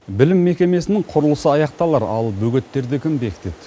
білім мекемесінің құрылысы аяқталар ал бөгеттерді кім бекітеді